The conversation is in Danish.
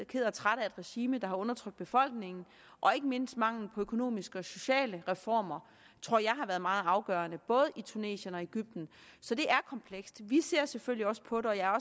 ked og træt af et regime der har undertrykt befolkningen og ikke mindst mangelen på økonomiske og sociale reformer tror jeg har været meget afgørende både i tunesien og i egypten så det er komplekst vi ser selvfølgelig også på det og jeg er